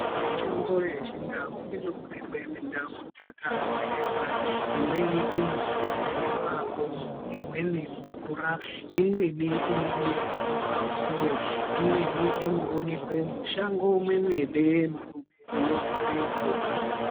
Mitombo yechindau inoonekwa mindau dzakasiyana imweni inoonekwa mumakomo imweni mumvura imweni inomere mumapuwe imweni inoonekwa mushango mwemene munogare mbuka.